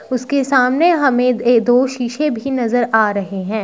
उसके सामने हमें ए दो शीशे भी नजर आ रहे हैं।